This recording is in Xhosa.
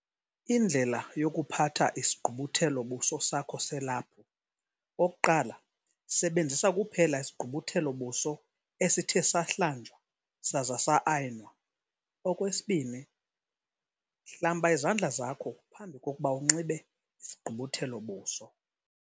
Indlela yokuphatha isigqubuthelo-buso sakho selaphu. 1. Sebenzisa kuphela isigqubuthelo-buso esithe sahlanjwa saza sa-ayinwa. 2. Hlamba izandla zakho phambi kokuba unxibe isigqubuthelo-buso.